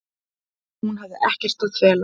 Hún hafi ekkert að fela.